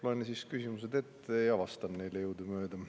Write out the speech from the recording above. Loen siis küsimused ette ja vastan neile jõudumööda.